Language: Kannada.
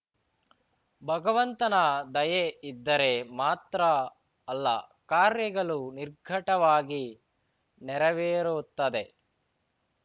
ಭಗವಂತನ ದಯೆ ಇದ್ದರೆ ಮಾತ್ರ ಅಲ್ಲ ಕಾರ್ಯಗಳು ನಿರ್ಘಟವಾಗಿ ನೆರವೇರುತ್ತದೆ